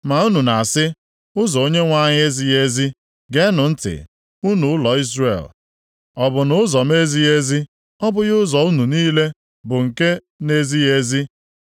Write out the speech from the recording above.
“Ma unu na-asị, ‘Ụzọ Onyenwe anyị ezighị ezi!’ Geenụ ntị, unu ụlọ Izrel. Ọ bụ nʼụzọ m ezighị ezi? Ọ bụghị ụzọ unu niile bụ nke na-ezighị ezi?